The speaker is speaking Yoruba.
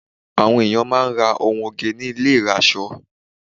Àwọn ènìyàn máà ń ra ohun oge ní ilé ìrasọ.